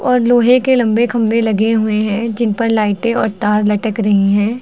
और लोहे के लंबे खंभे लगे हुए हैं जिन पर लाइटे और तार लटक रही है।